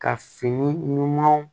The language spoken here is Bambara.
Ka fini ɲumanw